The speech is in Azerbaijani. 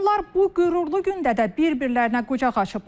Onlar bu qürurlu gündə də bir-birlərinə qucaq açıblar.